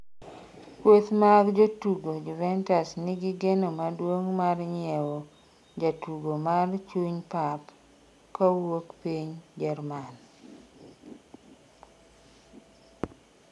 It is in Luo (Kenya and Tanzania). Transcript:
kweth mag jotugo Joventus nigi geno maduong' mar nyiewo jatugo mar chuny pap kawuok piny Jerman